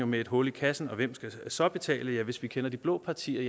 med et hul i kassen og hvem skal så betale hvis vi kender de blå partier